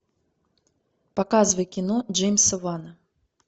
показывай кино джеймса вана